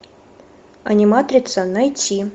аниматрица найти